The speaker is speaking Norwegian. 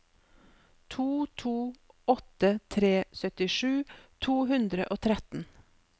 to to åtte tre syttisju to hundre og tretten